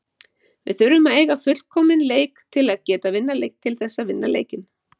Við þurfum að eiga fullkominn leik til þess að vinna leikinn.